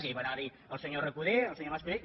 ja hi van anar el senyor recoder el senyor mas colell